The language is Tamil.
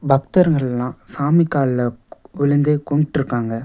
பக்தர்க எல்லா சாமி காலுல விழுந்து கும்பிட்டுருக்காங்க.